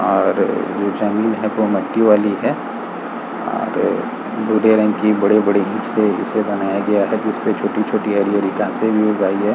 और ये जमीन है वो मट्टी वाली है और रंग की बड़े बड़े ईट से इसे बनाया गया है जिसपे छोटी छोटी हरी हरी घासे भी उग आई है |